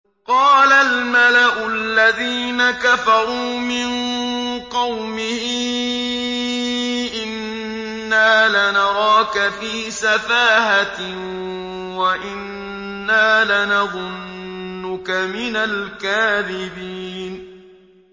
قَالَ الْمَلَأُ الَّذِينَ كَفَرُوا مِن قَوْمِهِ إِنَّا لَنَرَاكَ فِي سَفَاهَةٍ وَإِنَّا لَنَظُنُّكَ مِنَ الْكَاذِبِينَ